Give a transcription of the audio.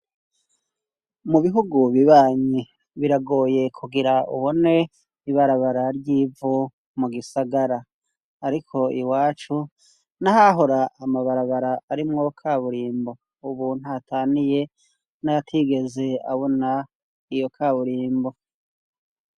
Mu bihugu bibanyi, biragoye kugira ubone ibarabara ry'ivu mu gisagara. Ariko iwacu n'ahahora amabarabara arimwo kaburimbo, ubu ntaho ataniye n'ayatigeze abona iyo kaburimbo.